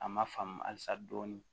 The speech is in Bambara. A ma faamu halisa dɔɔni